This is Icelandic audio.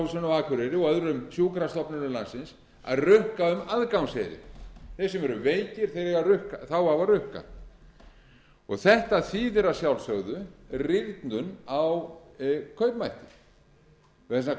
fjórðungssjúkrahúsinu á akureyri og öðrum sjúkrastofnunum landsins að rukka um aðgangseyri þeir sem eru veikir á að rukka þetta þýðir að sjálfsögðu rýrnun á kaupmætti vegna þess